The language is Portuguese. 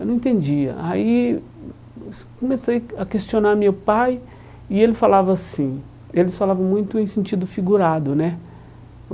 Eu não entendia, aí comecei a questionar meu pai, e ele falava assim Eles falavam muito em sentido figurado, né?